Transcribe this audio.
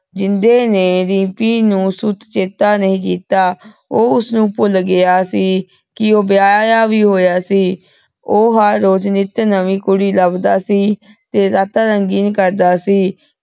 ਜਿੰਦੇ ਨੇ ਰਿਮ੍ਪੀ ਨੂ ਸੁਖ ਚਿੰਤਾ ਨਹੀ ਕੀਤਾ ਊਹ ਓਸਨੂ ਭੁਲ ਗਯਾ ਸੀ ਕੇ ਊ ਵਿਯਾਯਾ ਵੀ ਹੋਯਾ ਸੀ ਊ ਹਰ ਰੋਜ਼ ਨਿਤ ਨਵੀ ਕੁੜੀ ਲਬਦਾ ਸੀ ਤੇ ਰਾਤਾਂ ਰੰਗੀਨ ਕਰਦਾ ਸੀ